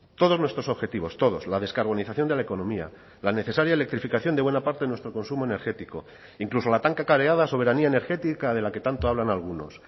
todos nuestros objetivos todos la descarbonización de la economía la necesaria electrificación de buena parte de nuestro consumo energético incluso la tan cacareada soberanía energética de la que tanto hablan algunos